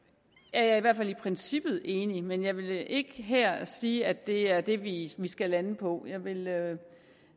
er jeg i hvert fald i princippet enig men jeg vil ikke her sige at det er det vi skal lande på jeg vil